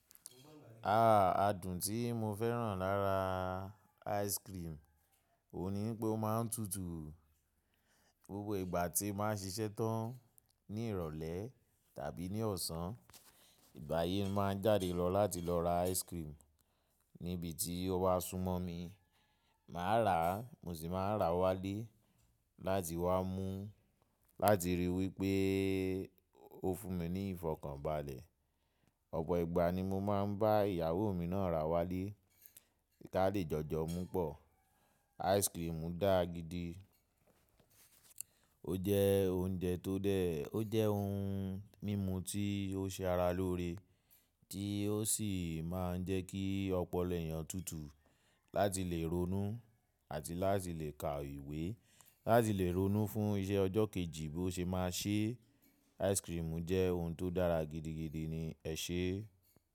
Ah! Adùn tí mo fẹ́ràn lára ice cream ònu ni pé ó máa ń tutù. Gbogbo ìgbà tí màá ṣiṣẹ́ tán ní ìrọ̀lẹ́ tàbí ní ọ̀sán, ìgba yii máa ń jáde lọ láti lọ ra ice cream ní ibi tí ó wá súnmọ́ mi. Màá rà á, mo sì máa rà wálé láti wá mú láti ríi wípé ó fún mi ní ìfọ̀kànbalẹ̀. Ọ̀pọ̀ ìgbà ni mo máa ń bá ìyàwó mi náà rà wálé kí a lè jọjọ mú pọ̀. Ice cream dá gidi, ó jẹ́ oúnjẹ tó dẹ́, ó jẹ́ ohun mímu tí ó ṣe ara lóore tí ó sì máa ń jẹ́ kí ọpọlọ ẹ̀yàn tutù láti lè ronú àti láti lè ka ìwé láti lè ronú fún iṣẹ́ ọjọ́ kejì bó ṣe máa ṣé. Ice cream jẹ́ ohun tó dára gidigidi ni ẹ̀ṣe.